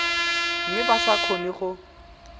mme ba sa kgone go